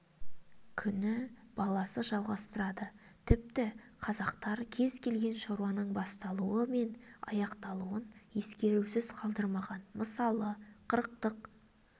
күні баласы жалғастырады тіпті қазақтар кез келген шаруаның басталуы мен аяқталуын ескерусіз қалдырмаған мысалы қырықтық